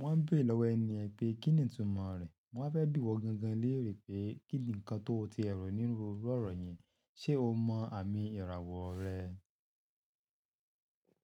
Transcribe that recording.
Wọ́n n bére lọ́wọ́ ẹni yẹn pé kíni ìtumọ̀ rẹ̀. Mo waá fẹ́ bì iwọ́ gangan léèrè pé kíni nǹkan tó tie rò níru iru ọ̀rọ̀ yen, ṣé o mọ àmì ìràwọ̀ rẹ?